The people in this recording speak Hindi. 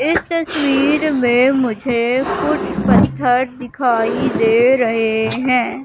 इस तस्वीर में मुझे कुछ पत्थर दिखाई दे रहे हैं।